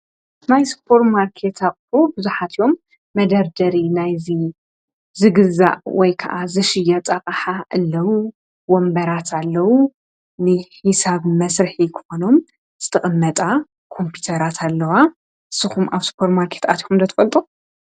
ናይ ሱፐርማርኬት ኣቑሑ ብዙሓት እዮም መደርደሪ ናይ ዝግዛእ ወይ ከዓ ዝሽየጥ ኣቕሓ ኣለዉ ወንበራት ኣለዉ ንሒሳብ መስርሒ ክኾኖም ዝተቐመጣ ኮምፕዩተራት ኣለዋ ንስኩም ኣብ ሱፐርማርኬት ኣቲኩም ዶ ትፈልጡ?